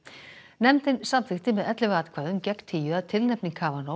nefndin samþykkti með ellefu atkvæðum gegn tíu að tilnefning